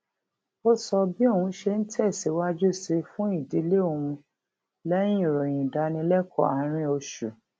ó sọ bí òun ṣe ń tè síwájú sí fún ìdílé òun léyìn ìròyìn ìdánilékòó àárín oṣù